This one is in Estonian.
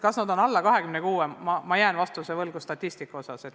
Kas nad on alla 26, selle vastuse jään võlgu.